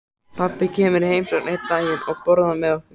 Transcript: Pabbi kemur í heimsókn einn daginn og borðar með okkur.